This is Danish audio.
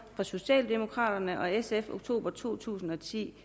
socialdemokraterne og sf fra oktober to tusind og ti